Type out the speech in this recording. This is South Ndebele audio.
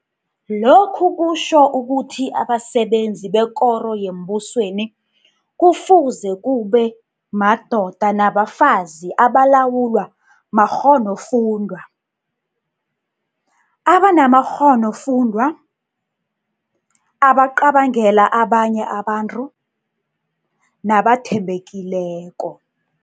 Lokhu kutjho ukuthi abasebenzi bekoro yembusweni kufuze kube madoda nabafazi abalawulwa makghonofundwa, abanamakghonofundwa, abacabangela abanye abantu, nabathembekileko.